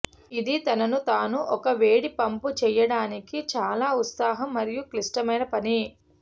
ఇది తనను తాను ఒక వేడి పంపు చేయడానికి చాలా ఉత్సాహం మరియు క్లిష్టమైన పని